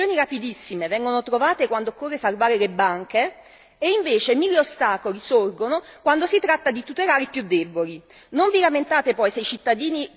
Non posso e non voglio credere che soluzioni rapidissime vengono trovate quando occorre salvare le banche ed invece mille ostacoli sorgono quando si tratta di tutelare i più deboli.